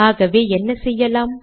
ஆகவே என்ன செய்யலாம்